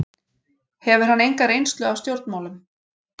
Hefur hann enga reynslu af stjórnmálum